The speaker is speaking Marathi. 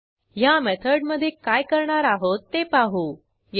अवेलेबल कॉपीज ची संख्या 0 पेक्षा जास्त आणि बुकिश्यूड 0 आहे का ते तपासू